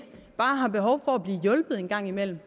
bare har behov for at blive hjulpet en gang imellem